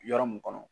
Yɔrɔ mun kɔnɔ